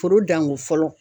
Foro danko fɔlɔ.